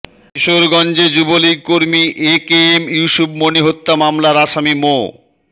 কিশোরগঞ্জে যুবলীগকর্মী A K M Yusuf Moni হত্যা মামলার আসামি মো